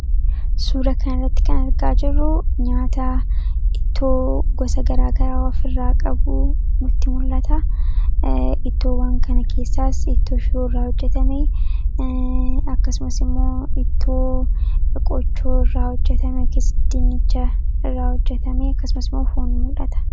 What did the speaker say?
suura kan irratti kanargaa jiruu nyaata ittoo gosa garaagaraa waf irraa qabuu multi mul'ata ittoowwan kana keessaas ittoo shiruu irraa hojjetamei akkasumasimoo ittoo eqochoo irraa hojjetame ks dinicha irraa hojjetamii akkasumasimoo foon mul'ata